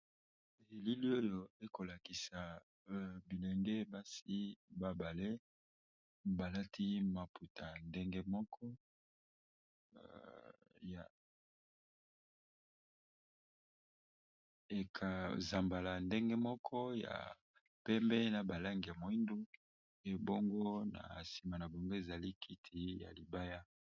Elili oyo ekolakisa bilenge masi babale balati maputa ndengemokoekzambala ndenge moko ya pembe na balenge moindu ebongo na nsima na bongo ezali kiti ya libaya.